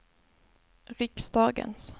riksdagens